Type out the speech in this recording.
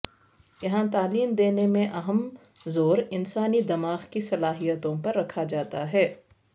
یہاں تعلیم دینے میں اہم زور انسانی دماغ کی صلاحیتوں پر رکھا جاتا ہے